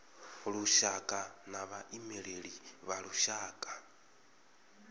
lushaka na vhaimeleli vha lushaka